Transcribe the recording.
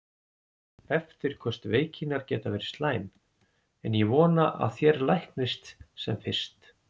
Eftirköst veikinnar geta verið slæm, en ég vona að þér læknist sem fyrst.